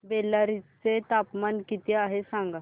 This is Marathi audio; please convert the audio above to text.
बेल्लारी चे तापमान किती आहे सांगा